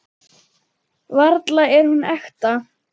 Varla er hún ekta.